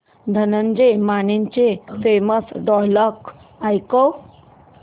धनंजय मानेचे famous dialogue ऐकव